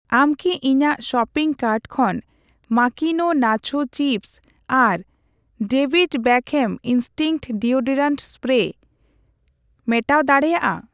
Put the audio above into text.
ᱟᱢ ᱠᱤ ᱤᱧᱟᱜ ᱥᱚᱯᱤᱝ ᱠᱟᱨᱴ ᱠᱷᱚᱱ ᱢᱟᱠᱤᱱᱳ ᱱᱟᱪᱦᱳ ᱪᱤᱯᱥ ᱟᱨ David Beckham instinct deodorant spray ᱢᱮᱴᱟᱣ ᱫᱟᱲᱮᱭᱟᱜᱼᱟ?